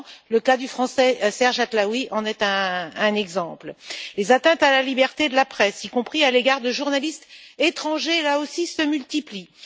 Le cas du français Serge Atlaoui en est un exemple. Les atteintes à la liberté de la presse, y compris à l'égard de journalistes étrangers, se multiplient.